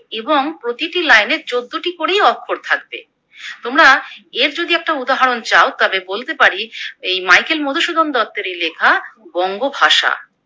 এবং প্রতিটি লাইনে চোদ্দটি করেই অক্ষর থাকবে। তোমরা এর যদি একটা উদাহরণ চাও তাহলে বলতে পারি এই মাইকেল মধুসূদন দত্তেরই লেখা বঙ্গভাষা।